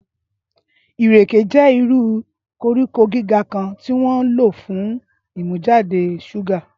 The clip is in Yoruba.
ìrèké jẹ́ irú koríko gíga kan tí wọ́n ń lò fún ìmújáde ṣúgà.